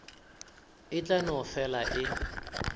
e tla no fela e